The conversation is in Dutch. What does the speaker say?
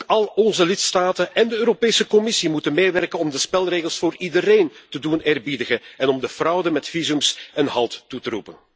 Ook al onze lidstaten en de Europese Commissie moeten meewerken om de spelregels voor iedereen te doen eerbiedigen en om de fraude met visa een halt toe te roepen.